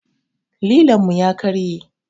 Lilon mu ya karye